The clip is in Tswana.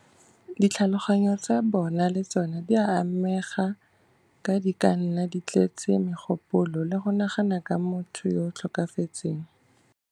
Ditlhaloganyo tsa bona le tsona di ka amega, ka di ka nna di tletse megopolo le go nagana ka motho yo o tlhokafetseng.